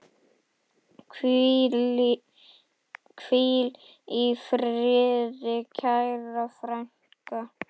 Hvíl í friði kæra frænka.